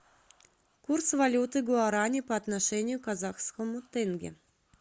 курс валюты гуарани по отношению к казахскому тенге